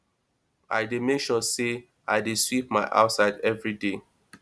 i dey mek sure say i dey sweep my outside evri day